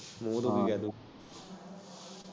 ਮੂਹ ਦੁੱਖ ਗਿਆ।